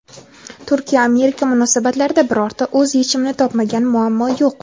Turkiya-Amerika munosabatlarida birorta o‘z yechimini topmagan muammo yo‘q.